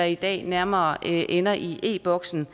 i dag nærmere ender i e boksen